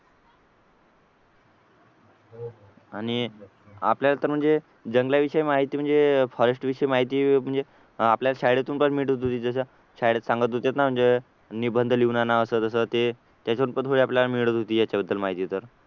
आणि आपल्याला तर म्हणजे जंगलाविषयी माहिती म्हणजे फॉरेस्ट विषयी माहिती म्हणजे आपल्याला शाळेतून पण मिळत होती जसं शाळेत सांगत होते ना म्हणजे निबंध लिहून आणा असं कसं ते त्याच्यावरून थोडी पण आपल्याला मिळत होती याच्याबद्दल माहिती तर